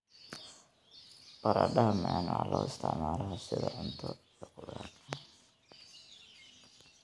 Baradhada macaan waxaa loo isticmaalaa sida cunto iyo khudrad.